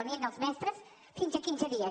ni els mestres fins a quinze dies